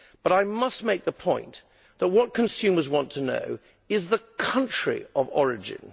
I must make the point, however, that what consumers want to know is the country of origin.